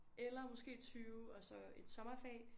Eller måske 20 og så et sommerfag